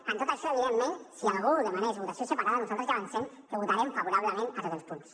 amb tot això evidentment si algú demanés votació separada nosaltres ja avancem que votarem favorablement a tots els punts